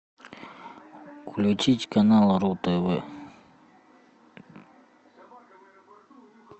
включить канал ру тв